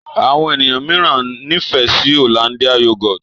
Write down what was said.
Àwọn ènìyàn míràn n'ifẹ sí Hollandia yoghurt.